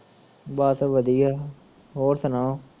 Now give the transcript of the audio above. ਬਸ ਵਧੀਆ ਹੋਰ ਸੁਣਾਓ